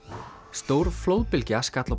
stór flóðbylgja skall á